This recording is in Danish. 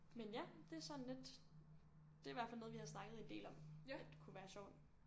Men ja det sådan lidt. Det er i hvert fald noget vi har snakket en del om at kunne være sjovt